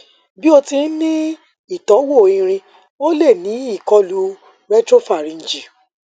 bi o ti n ni itọwo irin o le ni ikolu retropharyngeal